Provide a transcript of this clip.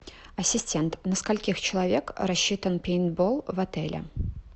ассистент на скольких человек рассчитан пейнтбол в отеле